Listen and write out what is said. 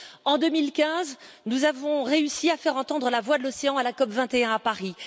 En 2015, nous avons réussi à faire entendre la voix de l'océan à la COP 21 à Paris.